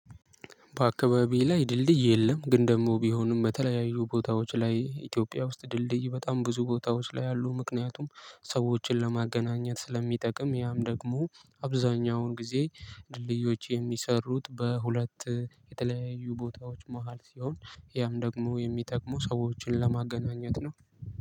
በአካባቢዬ ላይ ድልድይ የለም፤ ግን ደግሞ ቢሆንም በተለያዩ ቦታዎች ላይ ኢትዮጵያ ውስጥ ድልድይ በጣም ብዙ ቦታዎች ላይ አሉ። ምክንያቱም ሰዎችን ለማገናኘት ስለሚጠቅም ያም ደግሞ አብዛኛውን ጊዜ ድልድዮች የሚሰሩት በሁለት የተለያዩ ቦታዎች መሃል ሲሆን ያም ደግሞ የሚጠቅመው ሰዎችን ለማገናኘት ነው።